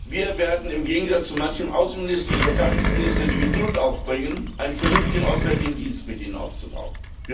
Wir werden im Gegensatz zu manchem Außen und Verteidigungsminister die Geduld aufbringen, einen vernünftigen Auswärtigen Dienst mit ihnen aufzubauen.